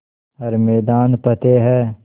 हर मैदान फ़तेह